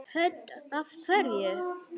Hödd: Af hverju?